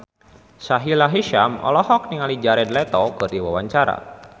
Sahila Hisyam olohok ningali Jared Leto keur diwawancara